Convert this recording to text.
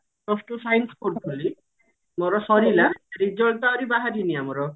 plus two science ପଢୁଥିଲି ମୋର ସରିଲା result ଆହୁରି ବାହାରିନି ଆମର